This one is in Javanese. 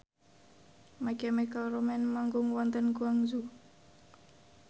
My Chemical Romance manggung wonten Guangzhou